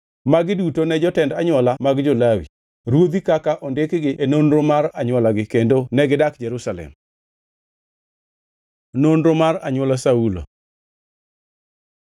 Magi duto ne jotend anywola mag jo-Lawi, ruodhi kaka ondikgi e nonro mar anywolagi kendo negidak Jerusalem. Nonro mar anywola Saulo